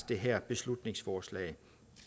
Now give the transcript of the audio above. det her beslutningsforslag